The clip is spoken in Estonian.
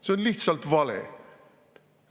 See on lihtsalt vale!